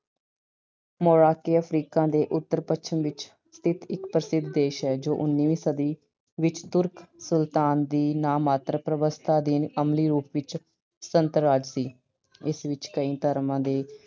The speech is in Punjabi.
Morocco Africa ਦੇ ਉਤਰ ਪੱਛਮ ਵਿੱਚ ਇੱਕ ਪ੍ਰਸਿੱਧ ਦੇਸ਼ ਹੈ ਜੋ ਉਨੀਵੀਂ ਸਦੀ ਵਿੱਚ Turk ਸੁਲਤਾਨ ਦੀ ਨਾਮਾਤਰ ਪ੍ਰਵਸਥਾ ਅਧੀਨ ਅਮਲੀ ਰੂਪ ਵਿੱਚ ਸੁਤੰਤਰ ਰਾਜ ਸੀ। ਇਸ ਵਿੱਚ ਕਈ ਧਰਮਾਂ ਦੇੇ